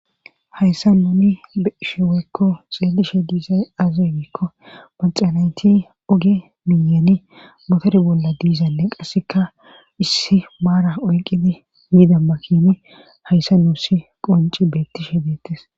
hayssa nuni besheweekko xeelishe diisay azay giikko panxanayti oge miyeni motore bolla diizale qasseka issi maara oyqidi yidamakini hayssa nuusi qonci beettishe deettes